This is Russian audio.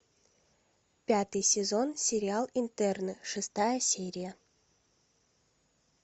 пятый сезон сериал интерны шестая серия